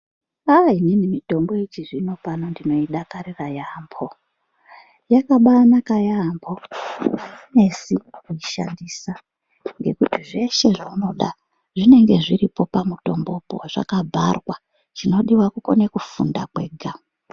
Aaa inini mutombo yechizvinopano ndinodakarira yaampho. Yakabaanaka yaampho, ainesi kuishandisa, ngekuti zveshe zvaunoda ,zvinenge zviripo pamutombopo zvakabharwa. Chinodiwa kukone kufunda kwega.